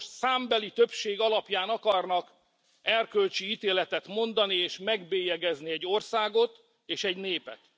Önök most számbeli többség alapján akarnak erkölcsi ítéletet mondani, és megbélyegezni egy országot és egy népet.